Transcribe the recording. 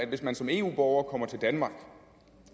hvis man som eu borger kommer til danmark